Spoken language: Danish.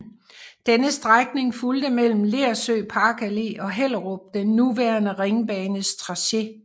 Denne strækning fulgte mellem Lersø Parkallé og Hellerup den nuværende Ringbanes tracé